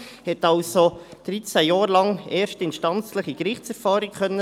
Sie hat also dreizehn Jahre lang erstinstanzliche Gerichtserfahrung sammeln können.